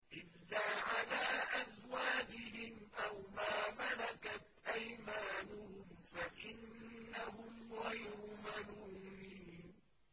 إِلَّا عَلَىٰ أَزْوَاجِهِمْ أَوْ مَا مَلَكَتْ أَيْمَانُهُمْ فَإِنَّهُمْ غَيْرُ مَلُومِينَ